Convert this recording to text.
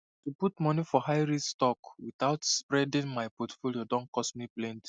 to put money for highrisk stocks without spreading my portfolio don cost me plenty